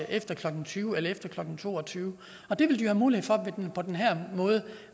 efter klokken tyve eller efter klokken to og tyve og det vil de have mulighed for på den her måde